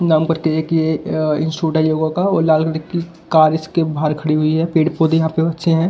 नाम करके एक ये इंस्टिट्यूट है योगा का और लाल की कार इसके बाहर खड़ी हुई है पेड़-पौधे यहां पे अच्छे हैं।